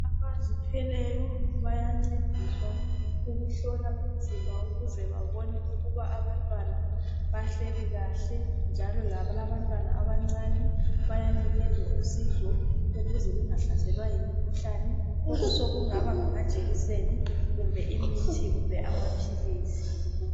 Abazithweleyo bayancediswa ukuhlola umzimba ukuze babone ukuba abantwana ukuthi bahleli kahle njalo labalabantwana abancane bayanikezwa usizo ukuze bengahlaselwa yimikhuhlane. Sokungaba ngamajekiseni kumbe imithi kumbe amaphilisi.